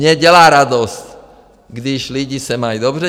Mně dělá radost, když lidi se mají dobře.